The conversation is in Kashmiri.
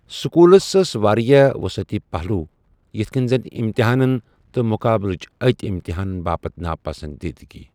سكوُلس ٲسہِ وارِیاہ وُصعتی پہلوُ ، یِتھ كٕنہِ زن اِمتحانن تہٕ مُقابلہٕج ٲتی اِمتحانن باپتھ ناپسندیدگی ۔